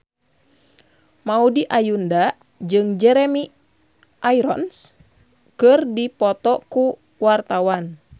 Maudy Ayunda jeung Jeremy Irons keur dipoto ku wartawan